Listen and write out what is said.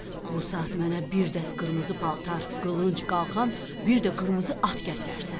Bu saat mənə bir dəst qırmızı paltar, qılınc, qalxan, bir də qırmızı at gətirərsən.